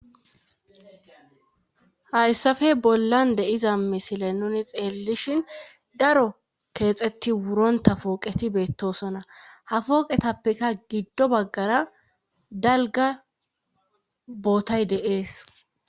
Hayssape bollan deiza misile nuni xeellishin daro keexetti wuronta pooqeti beettosona ha fooqetappeka giddo baggara dalga bootay deees